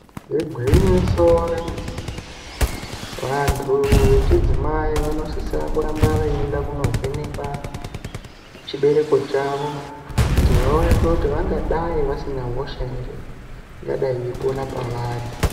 Igwinyiso remene mene. Vantu vechidzimai vanosisa kuramba veyienda kunovhenekwa chibereko chavo kuti vaonekwe kuti vangadai vasina hosha ere ingadai yeipona pavari.